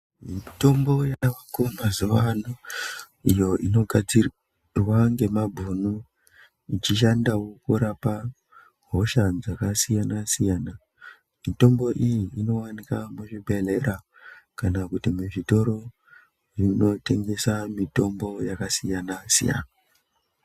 Mitombo yavako mazuwa ano iyo inogadzirwa ngemabhunu dzichishandawo kurapa hosha dzakasiyana siyana. Mitombo iyi inowanikwa muzvibhedhlera Kana kuti muzvitoro zvinotengesa mitombo yakasiyana siyana.